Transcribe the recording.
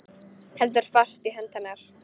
Heldur fast í hönd hennar.